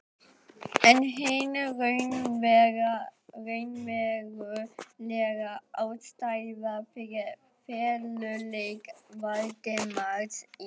En hin raunverulega ástæða fyrir feluleik Valdimars í